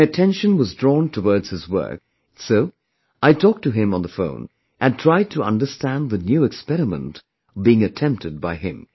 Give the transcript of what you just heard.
My attention was drawn towards his work, so I talked to him on the phone and tried to understand the new experiment being attempted by him